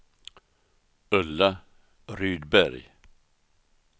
Ulla Rydberg